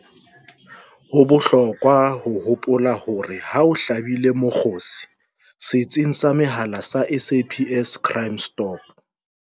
Ho bohlokwa ho hopola hore ha o hlabile mokgosi setsing sa mehala sa SAPS Crime Stop